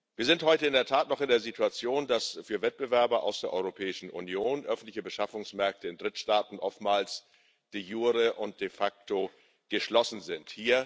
Wir sind heute in der Tat noch in der Situation, dass für Wettbewerber aus der Europäischen Union öffentliche Beschaffungsmärkte in Drittstaaten oftmals de jure und de facto geschlossen sind.